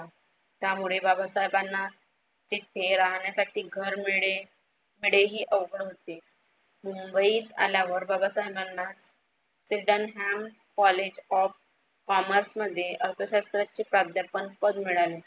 त्यामुळे बाबासाहेबांना तिथे राहण्यासाठी घर मीड मिडेही अवघड होते. मुंबईत आल्यावर बाबासाहेबांना sweden ham college of commerce मध्ये अर्थशास्त्राचे प्राध्यापन पद मिळाले.